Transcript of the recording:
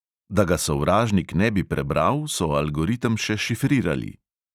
Da ga sovražnik ne bi prebral, so algoritem še šifrirali.